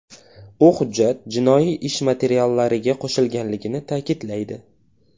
U hujjat jinoiy ish materiallariga qo‘shilganligini ta’kidlaydi.